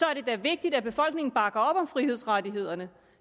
er det da vigtigt at befolkningen bakker op om frihedsrettighederne